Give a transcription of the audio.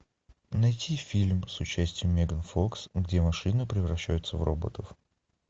найти фильм с участием меган фокс где машины превращаются в роботов